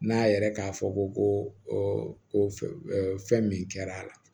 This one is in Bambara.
N'a yɛrɛ k'a fɔ ko ko fɛn min kɛra a la